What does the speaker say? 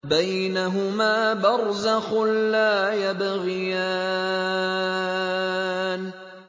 بَيْنَهُمَا بَرْزَخٌ لَّا يَبْغِيَانِ